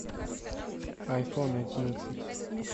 айфон одиннадцать